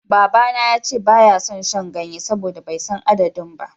Babana ya ce ba ya son shan ganye saboda bai san adadin ba.